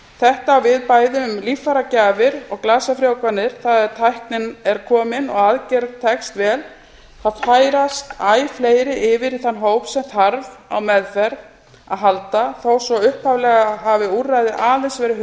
þetta á við bæði um bæði um líffæragjafir og glasafrjóvganir það er að tæknin er komin og aðgerð tekst vel þá færast æ fleiri yfir í þann hóp sem þarf á meðferð að halda þó svo upphaflega hafi úrræðið aðeins verið